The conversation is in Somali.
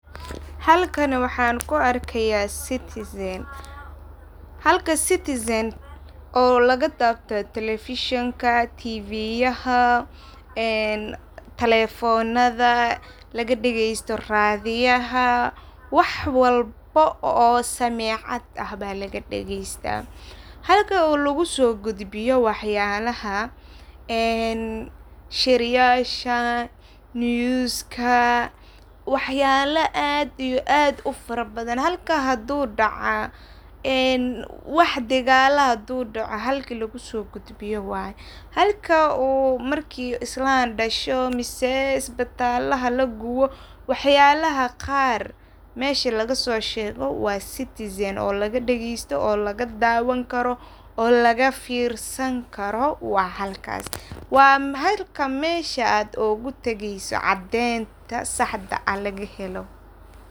Halkani waxan ku arkaya citizen. Halka citizen oo laga dawdo telefishenyaha, tvyaha telefonaha laga dhageysto radiyaha wax walbo oo samecad ah ba laga dhageysta. Halka oo logu so gudbiyo wax yalaha ee shiryasha newska iyo wax yalaha aad iyo aad u farabadan halka hadu daca, wax hadu daca wax dhigala ah halka lagu so gudbiyo waye. Halka uu marki islan dhasho ama isbital laguwo wax yalaha qaar mesha laga so shego waa citizen oo laga dagesto ,lagadawan karo ,laga firsan karo waa halkas waa halka mesha aad ugu tageyso cadeynta saxda ah.